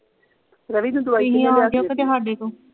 ਰਵੀ ਦੀ ਦਵਾਈ ਤੁਸੀਂ ਆ ਜੋ ਕਿਤੇ ਸਾਡੇ ਤੋਂ